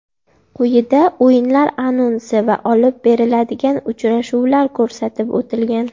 Quyida o‘yinlar anonsi va olib beriladigan uchrashuvlar ko‘rsatib o‘tilgan.